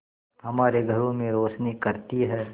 हमारे घरों में रोशनी करती है